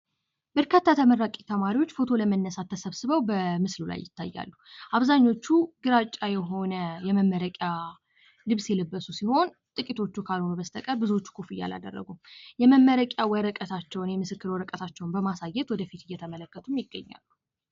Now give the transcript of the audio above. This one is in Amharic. በርካታ ተመራቂ ተማሪዎች ፎቶ ለመነሳት ተሰብስበው በምስሉ ላይ ይታያሉ። አብዛኞቹ ግራጫ የሆነ የመመረቂያ ልብስ የለበሱ ሲሆን፤ ጥቂቶቹ ካልሆነ በስተቀር ብዙዎቹ ኮፍያ አላደረጉም። የመመረቂያ ወረቀታቸውን የምስክር ወረቀታቸውን በማሳየት ወደፊት እየተመለከቱም ይገኛሉ።